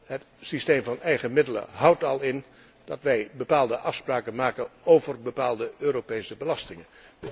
Het systeem van eigen middelen houdt al in dat wij bepaalde afspraken maken over bepaalde Europese belastingen.